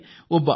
ಒಬ್ಬ ಐ